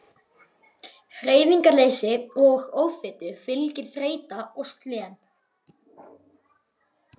Hreyfingarleysi og offitu fylgir þreyta og slen.